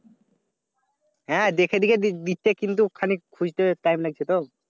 হ্যাঁ দেখে দেখে দি দিচ্ছে কিন্তু খালি খুজতে time লাগছে তো